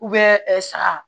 ɛ saga